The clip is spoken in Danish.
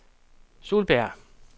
Solbjerg